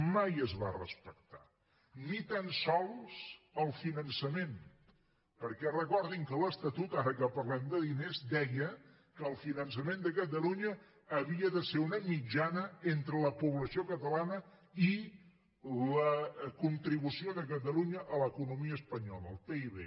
mai es va respectar ni tan sols el finançament perquè recordin que l’estatut ara que parlem de diners deia que el finançament de catalunya havia de ser una mitjana entre la població catalana i la contribució de catalunya a l’economia espanyola el pib